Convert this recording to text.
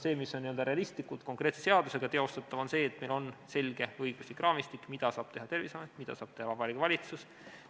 See, mis on realistlikult, konkreetse seadusega teostatav, on see, et meil on selge õiguslik raamistik, mida saab teha Terviseamet, mida saab teha Vabariigi Valitsus.